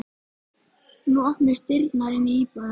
Nú opnuðust dyrnar inn í íbúðina.